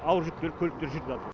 ауыр жүк көліктері жүріп жатыр